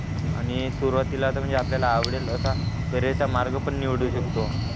आणि सुरवातीला आता म्हणजे आपल्याला आवडेल असा कॅरियर चा मार्ग पण निवडू शकतो